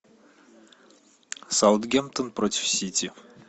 саутгемптон против сити